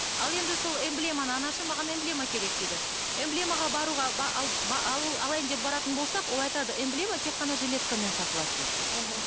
ал енді сол эмблеманы анашым маған эмблема керек дейді эмблемаға баруға алайын деп баратын болсақ ол айтады эмблема тек қана жилеткамен сатылады дейді мхм